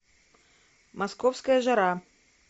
московская жара